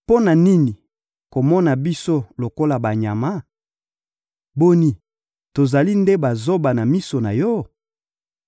Mpo na nini komona biso lokola banyama? Boni, tozali nde bazoba na miso na yo?